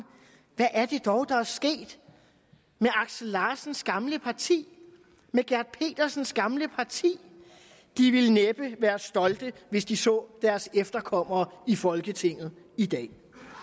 hvad er det dog der er sket med axel larsens gamle parti med gert petersens gamle parti de ville næppe være stolte hvis de så deres efterkommere i folketinget i dag